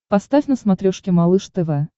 поставь на смотрешке малыш тв